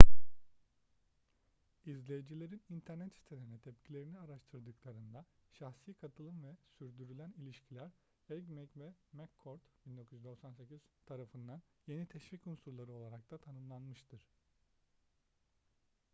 i̇zleyicilerin internet sitelerine tepkilerini araştırdıklarında şahsi katılım” ve sürdürülen ilişkiler” eighmey ve mccord 1998 tarafından yeni teşvik unsurları olarak da tanımlanmıştır